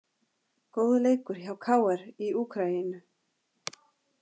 Góður leikur hjá KR í Úkraínu